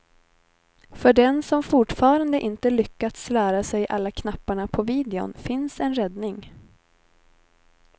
För den som fortfarande inte lyckats lära sig alla knapparna på videon finns en räddning.